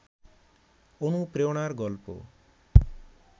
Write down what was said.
অনুপ্রেরণার গল্প